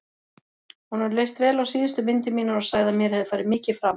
Honum leist vel á síðustu myndir mínar og sagði að mér hefði farið mikið fram.